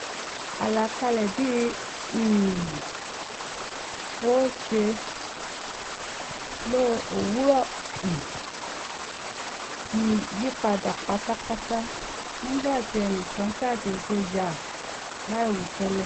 àlàkalẹ̀ bí̀ n um óò ṣe lo òwúrọ̀ um mi yípadà pátápátá nígbà tí ẹnìkan ṣàdéédé yà láìwí tẹ́lẹ̀